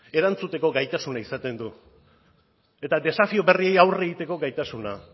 erantzuteko gaitasuna izaten du eta desafio berriei aurre egiteko gaitasuna